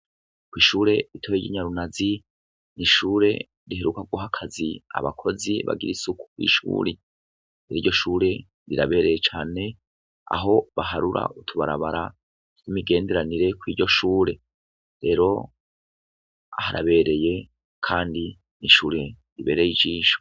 Kw'ishure ritoyi ry'inyarunazi ni ishure riheruka guha akazi abakozi kw'ishure. Rero iryo shure rirabereye cane aho baharura utubarabara tw'imigenderanire kuri iryo shure. Rero harabereye kandi ni ishure ribereye ijisho.